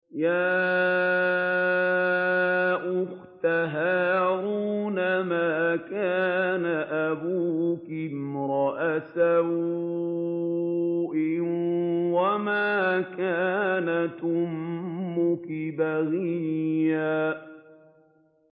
يَا أُخْتَ هَارُونَ مَا كَانَ أَبُوكِ امْرَأَ سَوْءٍ وَمَا كَانَتْ أُمُّكِ بَغِيًّا